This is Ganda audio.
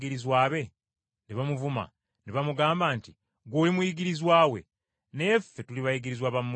Ne bamuvuma ne bamugamba nti, “Ggwe oli muyigirizwa we. Naye ffe tuli bayigirizwa ba Musa.